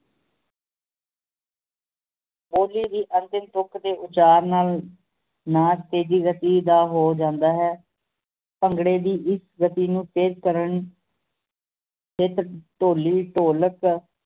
ਅੰਤਿਮ ਤੁਕ ਤੇ ਉਚਾਰ ਨਾਲ ਨਾਚ ਤੇਜੀ ਗਤੀ ਦਾ ਹੋ ਜਾਂਦਾ ਹੈ ਭੰਗੜੇ ਦੀ ਇੱਕ ਗਤੀ ਨੂੰ ਤੇਜ ਕਰਨ ਤੇ ਢੋਲੀ ਢੋਲਕ